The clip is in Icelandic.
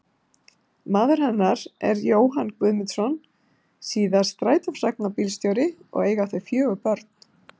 Maður hennar er Jóhann Guðmundsson, síðar strætisvagnabílstjóri, og eiga þau fjögur börn.